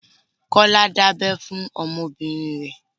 Kọ́lá dábẹ fún ọmọ bìnrin rẹ.